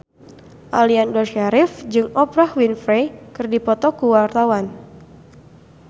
Aliando Syarif jeung Oprah Winfrey keur dipoto ku wartawan